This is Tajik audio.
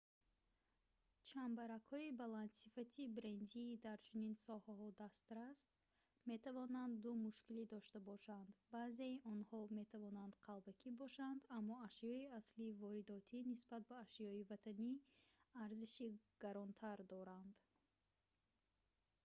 чамбаракҳои баландсифати брендии дар чунин соҳаҳо дастрас метавонанд ду мушкилӣ дошта бошанд баъзеи онҳо метавонанд қалбакӣ бошанд аммо ашёи аслии воридотӣ нисбат ба ашёи ватанӣ арзиши гаронтар дорад